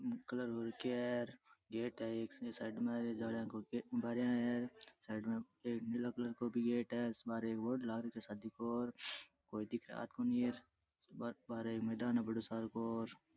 Colour हु रखयो है गेट है एक साइड मे जालिया को बारिया है र साइड मे एक नीला कलर को भी गेट है बारे एक बोर्ड लाग रखयो है शादी को कोई दिखे कोणी बारे एक मैदान है बढ़ो सार को र।